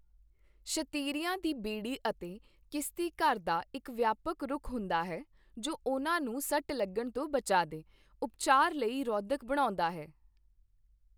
ਸ਼ਤੀਰੀਆਂ ਦੀ ਬੇੜੀ ਅਤੇ ਕਿਸਤੀ ਘਰ ਦਾ ਇੱਕ ਵਿਆਪਕ ਰੁਖ ਹੁੰਦਾ ਹੈ ਜੋ ਉਹਨਾਂ ਨੂੰ ਸੱਟ ਲੱਗਣ ਤੋਂ ਬਚਾ ਦੇ ਉਪਚਾਰ ਲਈ ਰੋਧਕ ਬਣਾਉਂਦਾ ਹੈ।